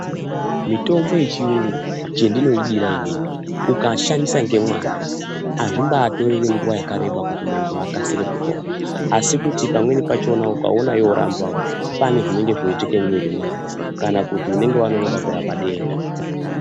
Mitombo yechiyungu chendinoidira inini ukashandisa ngemwazvo azvibatorere nguwa yakareba kuti munhu akasike kupora asikuti pamweni pachona ukaona yorambawo panozvinonga zvoitike mumwiri mwako kana kuti unonga wanonoka kurapa denda.